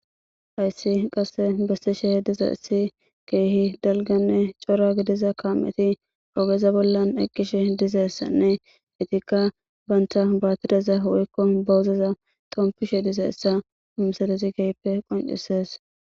ayssi qasse bestishehe diza issi keehi dalganne cora gidiza kaameti roobeza bollan eqqishe dizeessanne itikka banta baatideza hwu7ekko bowozeza tompishe dize essa amsadezi keyppe qoncisees